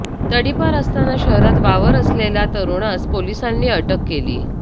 तडीपार असताना शहरात वावर असलेल्या तरुणास पोलिसांनी अटक केली